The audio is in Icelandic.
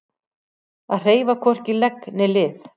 Að hreyfa hvorki legg né lið